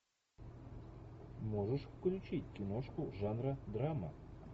можешь включить киношку жанра драма